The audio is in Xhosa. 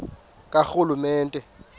karhulumente